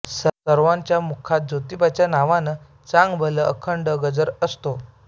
सर्वांच्या मुखात जोतिबाच्या नावानं चांगभलचा अखंड गजर असतो